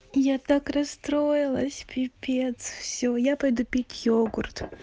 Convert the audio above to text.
я так расстроилась пипец всё я пойду пить йогурт